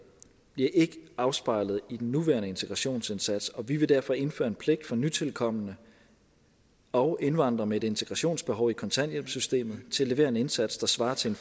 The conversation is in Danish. bliver ikke afspejlet i den nuværende integrationsindsats og vi vil derfor indføre en pligt for nytilkomne og indvandrere med et integrationsbehov i kontanthjælpssystemet til at levere en indsats der svarer til